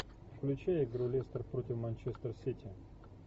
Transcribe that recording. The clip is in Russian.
включай игру лестер против манчестер сити